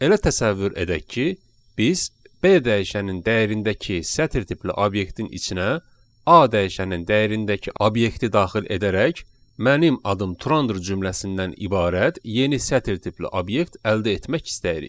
Elə təsəvvür edək ki, biz B dəyişənin dəyərindəki sətr tipli obyektin içinə A dəyişənin dəyərindəki obyekti daxil edərək mənim adım Turandır cümləsindən ibarət yeni sətr tipli obyekt əldə etmək istəyirik.